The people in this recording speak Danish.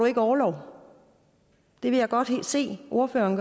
ikke orlov det vil jeg godt se ordføreren